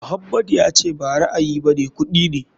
Muhammadu ya ce ba ra'ayi bane kuɗi ne.